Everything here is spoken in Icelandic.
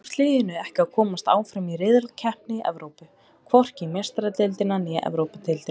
Þá tókst liðinu ekki að komast áfram í riðlakeppni Evrópu, hvorki í Meistaradeildina né Evrópudeildina.